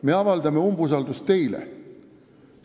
Me avaldame umbusaldust teile!